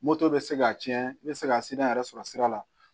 Moto bɛ se ka tiɲɛ n bɛ se ka sira yɛrɛ sɔrɔ sira la